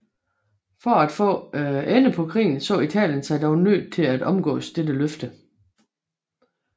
For at få ende på krigen så Italien sig dog nødt til at omgå dette løfte